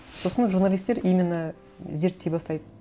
сосын журналистер именно зерттей бастайды